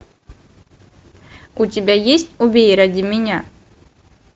у тебя есть убей ради меня